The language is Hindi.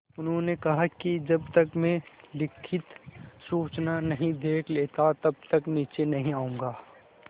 उन्होंने कहा कि जब तक मैं लिखित सूचना नहीं देख लेता तब तक नीचे नहीं आऊँगा